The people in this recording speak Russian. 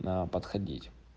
да подходить